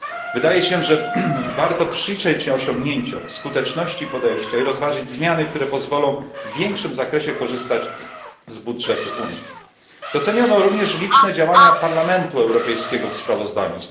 Wydaje się, że warto przyjrzeć się osiągnięciom, skuteczności podejścia i rozważyć zmiany, które pozwolą w większym zakresie korzystać z budżetu Unii. Doceniono również liczne działania Parlamentu Europejskiego w sprawozdaniu.